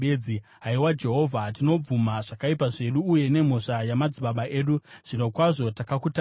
Haiwa Jehovha, tinobvuma zvakaipa zvedu, uye nemhosva yamadzibaba edu; zvirokwazvo takakutadzirai.